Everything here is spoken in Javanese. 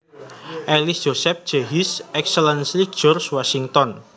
Ellis Joseph J His Excellency George Washington